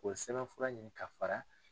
k'o sɛbɛnfura ɲini ka fara